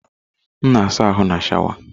M na asa ahụ na sháwà.